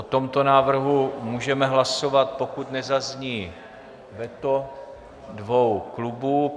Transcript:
O tomto návrhu můžeme hlasovat, pokud nezazní veto dvou klubů.